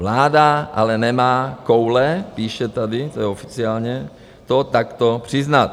Vláda ale nemá koule - píše tady, to je oficiálně - to takto přiznat.